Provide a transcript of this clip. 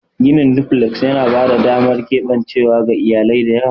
Ginin duflek yana ba da damar keɓancewa ga iyalai da yawa.